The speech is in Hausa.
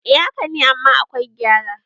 eh haka ne amma akwai gyara